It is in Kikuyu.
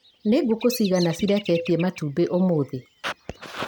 Nĩ ngũkũ cigana cireketie matumbĩ ũmũthĩ?